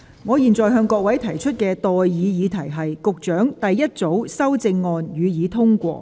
我現在向各位提出的待議議題是：保安局局長動議的第一組修正案，予以通過。